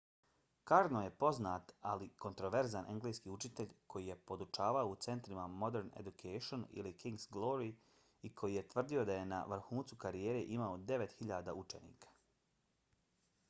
karno je poznat ali kontroverzan engleski učitelj koji je podučavao u centrima modern education i king’s glory i koji je tvrdio da je na vrhuncu karijere imao 9.000 učenika